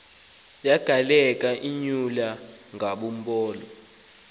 yagaleleka imyula yangulowo